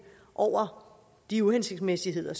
over de uhensigtsmæssigheder